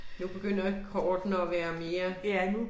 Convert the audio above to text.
Nu begynder kortene at være mere